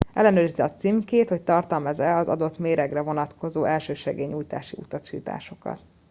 ellenőrizze a címkét hogy tartalmaz e az adott méregre vonatkozó elsősegélynyújtási utasításokat